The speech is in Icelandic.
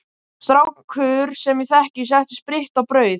Strákur sem ég þekki setti spritt í brauð.